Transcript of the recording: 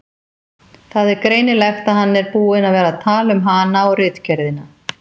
Það er greinilegt að hann er búinn að vera að tala um hana og ritgerðina.